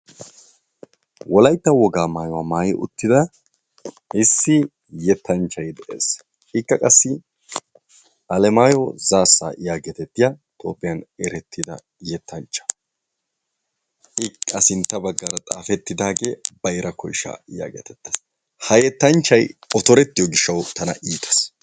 Wolaytta wogga maayuwaa maayi uttida issi yetanchchay dees, ikka qassi Alemayo Zassa yaagettetiyaa Toophphiyaan erettidda yetanchcha, a sinttani xaafetidagge bayra koyshsha gees ha yettanchchay otorettiyo gishshawu tanna iittes.